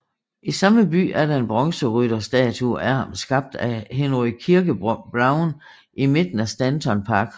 I samme by er der en bronzerytterstatue af ham skabt af Henry Kirke Brown i midten af Stanton Park